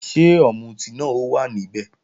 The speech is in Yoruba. Ṣé ọ̀mùtí náà ó wà níbẹ̀?